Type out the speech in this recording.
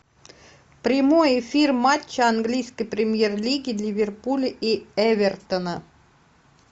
прямой эфир матча английской премьер лиги ливерпуля и эвертона